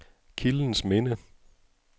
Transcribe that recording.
Kildens Minde